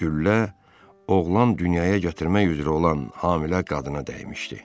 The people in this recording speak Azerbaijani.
Güllə oğlan dünyaya gətirmək üzrə olan hamilə qadına dəymişdi.